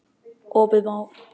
Opið má.